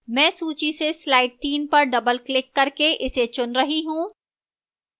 मैं सूची से slide 3 पर double क्लिक करके इसे चुन रही हूं